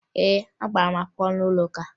Ee, agbara m akwụkwọ n'ụlọụka